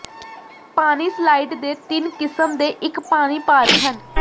ਪਾਣੀ ਸਲਾਇਡ ਦੇ ਤਿੰਨ ਕਿਸਮ ਦੇ ਇੱਕ ਪਾਣੀ ਪਾਰਕ ਹਨ